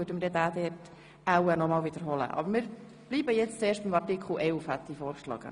Die Gemeinden können durch Reglement eine Aufenthaltsdauer von bis zu zwei Jahren vorsehen.